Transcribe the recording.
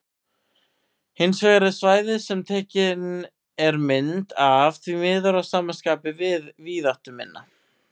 Hins vegar er svæðið sem tekin er mynd af því miður að sama skapi víðáttuminna.